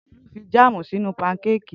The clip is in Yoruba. Tolu fi jáàmù sínú pankékì.